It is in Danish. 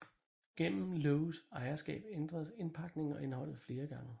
Gennem Lowes ejerskab ændredes indpakningen og indholdet flere gange